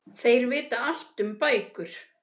Þeir vita allt um bækur.